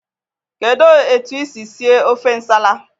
Kedụ etu isi sie ofe nsala?